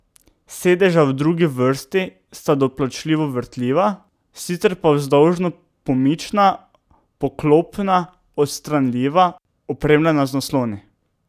Sedeža v drugi vrsti sta doplačilno vrtljiva, sicer pa vzdolžno pomična, poklopna, odstranljiva, opremljena z nasloni ...